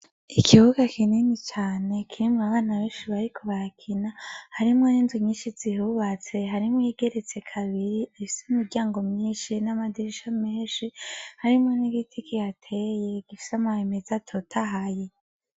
Ikibuga kinini cane kirimwo abana benshi bariko barakina harimwo n'inzu nyinshi ziyubatse, harimwo n'iyigeretse kabiri, ifise imiryango myinshi n'amadirisha menshi, harimwo n'igiti kihateye gifise amababi meza atotahaye.